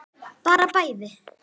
Bara bæði.